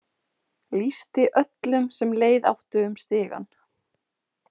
Lýsti öllum sem leið áttu um stigann.